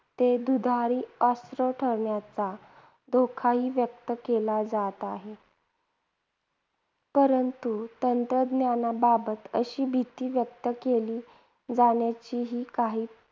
ते दुधारी अस्त्र ठरण्याचा धोकाही व्यक्त केला जात आहे. परंतु तंत्रज्ञानाबाबत अशी भीती व्यक्त केली जाण्याची ही काही